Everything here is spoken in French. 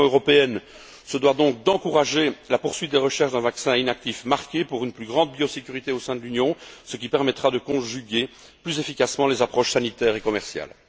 L'Union européenne se doit donc d'encourager la poursuite des recherches d'un vaccin inactif marqué pour une plus grande biosécurité au sein de l'Union, ce qui permettra de conjuguer plus efficacement les approches sanitaires et commerciales.